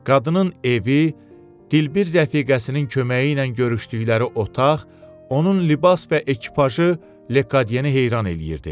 Qadının evi, dilbir rəfiqəsinin köməyi ilə görüşdüyü otaq, onun libas və ekipajı Lekadyeni heyran eləyirdi.